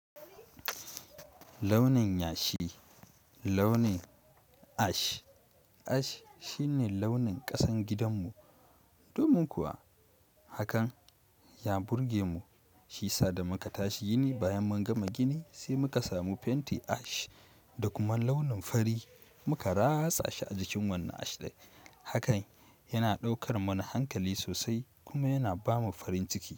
Launin yashi, launin ash, ash shine launin ƙasan gidanmu. Domin kuwa hakan ya burge mu, shi sa da muka tashi gini, bayan mun gama gini sai muka samu fenti ash da kuma launin fari muka rasa shi a jikin wannan ash ɗin. Hakan yana ɗaukar mana hankali sosai kuma yana ba mu farin ciki.